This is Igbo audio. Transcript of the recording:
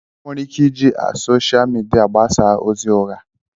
Enwere ike iji a Soshia media gbasaa ozi ụgha.